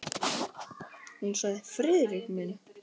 Hún sagði: Friðrik minn!